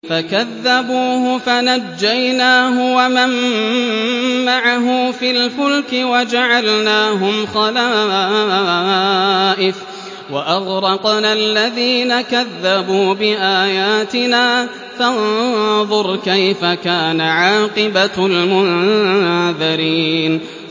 فَكَذَّبُوهُ فَنَجَّيْنَاهُ وَمَن مَّعَهُ فِي الْفُلْكِ وَجَعَلْنَاهُمْ خَلَائِفَ وَأَغْرَقْنَا الَّذِينَ كَذَّبُوا بِآيَاتِنَا ۖ فَانظُرْ كَيْفَ كَانَ عَاقِبَةُ الْمُنذَرِينَ